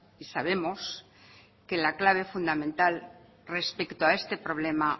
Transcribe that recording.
y sabemos que la clave fundamental respecto a este problema